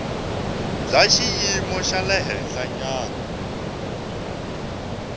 bya xiyimo xa le henhlanyana